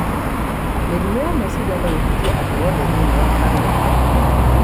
Mĩrimũ ya meciria no ĩhutie andũ othe thĩinĩ wa famĩlĩ.